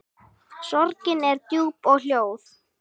Sorgin er djúp og hljóð.